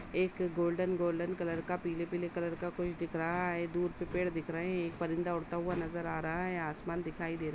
एक golden golden colour का पीले- पीले कलर का कुछ दिख रहा है। दूर से पेड़ दिख रहे हैं। एक परिंदा उड़ता हुआ नजर आ रहा है। आसमान दिखाई दे रहा --